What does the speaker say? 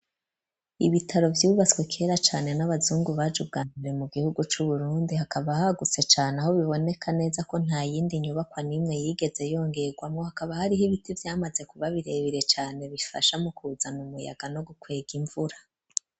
Ibitaro vyubaswe kera cane n'abazungu bajuganiwe mu gihugu cu Burundi hakaba ahaguse cane aho biboneka neza ko nta yindi nyubakwa nimwe yigeze yongegwamo hakaba hariho ibiti byamaze kuba birebere cane bifasha mu kuzana umuyaga no gukwega imvura.